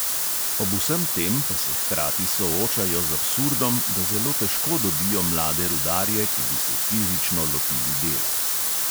Ob vsem tem pa se hkrati soočajo z absurdom, da zelo težko dobijo mlade rudarje, ki bi se fizično lotili dela.